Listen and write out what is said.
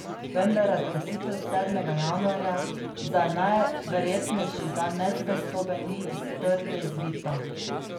Vendar razglasitev sedmega januarja za najverjetnejši dan nezvestobe ni iz trte izvita.